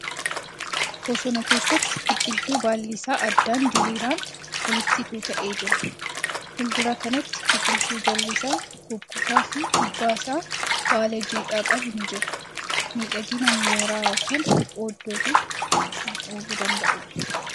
Bosona keessatti biqiltuu baalli isaa addaan diriiraan walitti tuuta'ee jira . Fuuldura kanatti biqiltuu jalli isaa goggogaa fi gubbaan isaa baala jiidhaa qabu ni jira. Miidhagina mooraq ykn oddootiif kan ooluu danda'uudha.